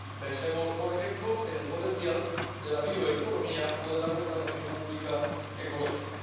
Pensemos, por ejemplo, en el potencial de la bioeconomía o de la contratación pública ecológica.